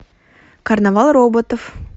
карнавал роботов